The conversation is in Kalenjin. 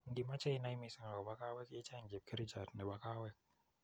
Ngimache inai misiing akobo kaweek icheng chepkerichot nebo kaweek